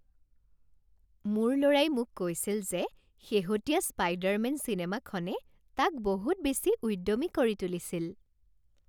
মোৰ ল'ৰাই মোক কৈছিল যে শেহতীয়া স্পাইডাৰমেন চিনেমাখনে তাক বহুত বেছি উদ্যমী কৰি তুলিছিল